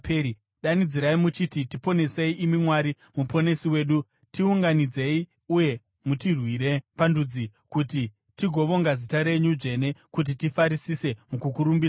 Danidzirai muchiti, “Tiponesei, imi Mwari Muponesi wedu; tiunganidzei uye mutirwire pandudzi, kuti tigovonga zita renyu dzvene kuti tifarisise mukukurumbidzai.”